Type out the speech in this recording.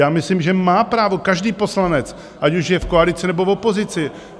Já myslím, že má právo každý poslanec, ať už je v koalici, nebo v opozici.